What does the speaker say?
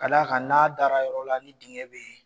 Ka d'a kan n'a dara yɔrɔ la ni dingɛ bɛ yen